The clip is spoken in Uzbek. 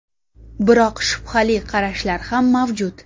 Biroq shubhali qarashlar ham mavjud.